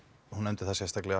hún nefndi það sérstaklega